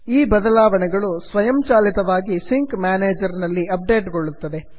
ಈ ಬದಲಾವಣೆಗಳು ಸ್ವಯಂ ಚಾಲಿತವಾಗಿ ಸಿಂಕ್ ಮ್ಯಾನೇಜರ್ನಲ್ಲಿ ಅಪ್ ಡೇಟ್ ಗೊಳ್ಳುತ್ತದೆ